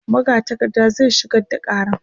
magatakarda zai shigar da karan